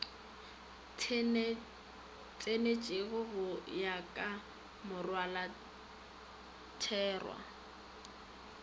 tsenetšwego go ya ka molaotherwa